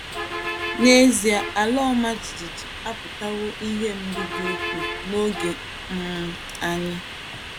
N’ezie ala ọma jijiji akpàtàwo ihè mgbu dị ukwuu n’ogé um anyị.